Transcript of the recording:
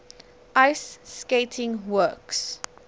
ice skating works